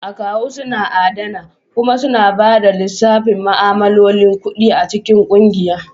Akawu suna adana kuma suna ba da lissafin ma'amalolin kuɗi a cikin kungiya.